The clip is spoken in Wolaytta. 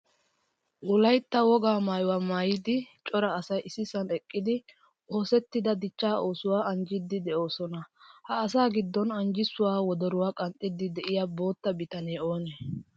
Wolaytta wogaa maayuwaa maayida cora asay issisan eqqidi oosettida dichcha oosuwaa anjjisidi deosona. Ha asaa giddon anjjisuwaa wodoruwa qanxxidi de'iyaa boottaa bitane oone?